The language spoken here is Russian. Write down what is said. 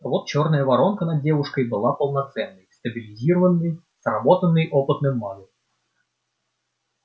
а вот чёрная воронка над девушкой была полноценной стабилизированной сработанной опытным магом